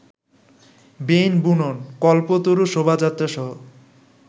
বেইন বুনন, কল্পতরু শোভাযাত্রাসহ